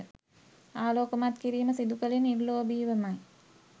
ආලෝකමත් කිරීම සිදුකළේ නිර්ලෝභීවමයි.